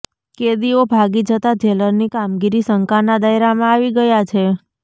કેદીઓ ભાગી જતા જેલરની કામગીરી શંકાના દાયરામાં આવી ગયા છે